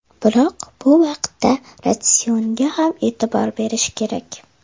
Biroq bu vaqtda ratsionga ham e’tibor berish kerak.